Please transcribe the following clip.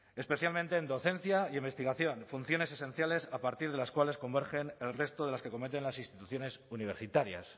especialmente en docencia e investigación funciones esenciales a partir de las cuales convergen el resto de las que cometen las instituciones universitarias